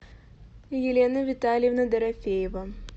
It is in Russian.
елена витальевна дорофеева